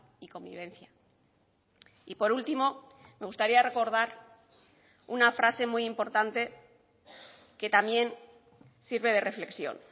y convivencia y por último me gustaría recordar una frase muy importante que también sirve de reflexión